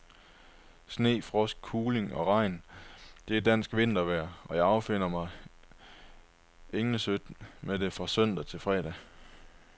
Sne og frost, kuling og regn, det er dansk vintervejr, og jeg affinder mig englesødt med det fra søndag til fredag.